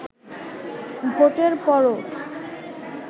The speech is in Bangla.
ভোটের পরও